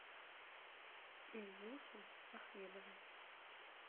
ильюшу ахмедова